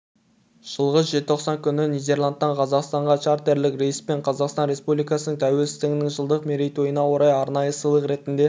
жылғы желтоқсанын күні нидерландтан қазақстанға чартерлік рейспен қазақстан республикасының тәуелсіздігінің жылдық мерейтойына орай арнайы сыйлық ретінде